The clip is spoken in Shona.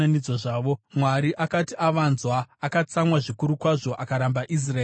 Mwari akati avanzwa akatsamwa zvikuru kwazvo; akaramba Israeri zvachose.